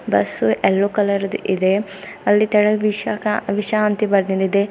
Bus yellow colour ಇದೆ ಅಲ್ಲಿ ಕೆಳಗ ವಿಷ ಅಂತ ಬರೆದಿಂದಿದೆ.